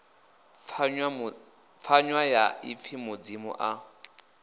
pfanywa ya ipfi mudzimu a